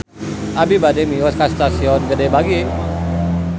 Abi bade mios ka Stasiun Gede Bage